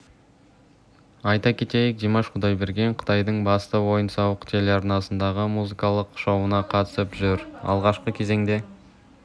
айта кетейік димаш құдайберген қытайдың басты ойын-сауық телеарнасындағы музыкалық шоуына қатысып жүр алғашқы кезеңде